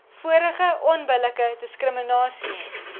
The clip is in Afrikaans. vorige onbillike diskriminasie